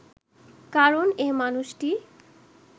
কারণ এ মানুষটি